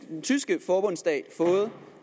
den tyske forbundsdag fået